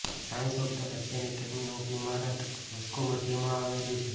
science of the Russian academy of ઇમારત Moscow મધ્યમાં આવેલું છે